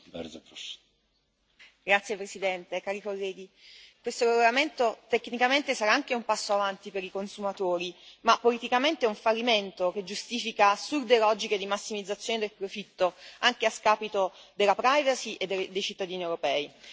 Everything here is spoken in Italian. Signor Presidente, onorevoli colleghi, questo regolamento tecnicamente sarà anche un passo in avanti per i consumatori, ma politicamente è un fallimento che giustifica assurde logiche di massimizzazione del profitto anche a scapito della privacy e dei cittadini europei.